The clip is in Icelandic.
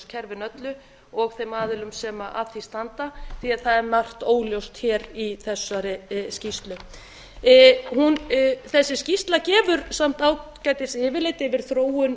lífeyrissjóðakerfinu öllu og þeim aðilum sem að því standa því að það er margt óljóst hér í þessari skýrslu þessi skýrsla gefur samt ágætis yfirlit yfir þróun